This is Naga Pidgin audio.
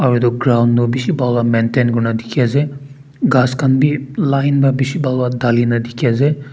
aroo etu ground toh bishi bhal para maintain kurina diki asae khass khan bi line para bishi pahal bara dalina diki asae.